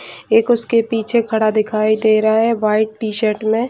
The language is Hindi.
एक उसके पीछे खड़ा दिखाई दे रहा है वाइट टी-शर्ट में।